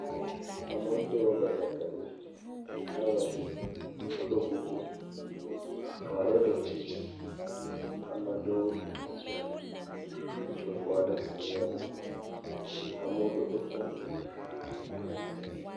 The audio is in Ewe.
Amewo Do batakali ehe ɖum. Woɖo kuku ame aɖewo ɖɔ tsitsi. Ame ɖewo ƒoxlãe. Ŋutsua trɔ fɔ aɖe si ɣe ɖum. Amewo dodo kpɔ......